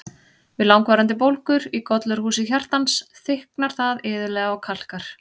Við langvarandi bólgur í gollurhúsi hjartans, þykknar það iðulega og kalkar.